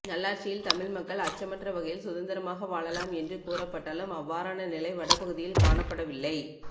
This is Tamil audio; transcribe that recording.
நல்லாட்சியில் தமிழ் மக்கள் அச்சமற்ற வகையில் சுதந்திரமாக வாழலாம் என்று கூறப்பட்டாலும் அவ்வாறான நிலை வட பகுதியில் காணப்படவில்லை